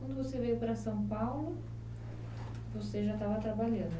Quando você veio para São Paulo, você já estava trabalhando?